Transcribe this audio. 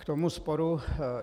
K tomuto sporu.